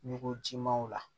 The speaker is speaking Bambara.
Ɲugujimaw la